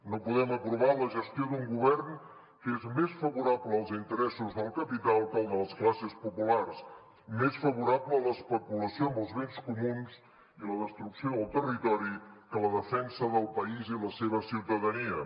no podem aprovar la gestió d’un govern que és més favorable als interessos del capital que als de les classes populars més favorable a l’especulació amb els béns comuns i la destrucció del territori que a la defensa del país i la seva ciutadania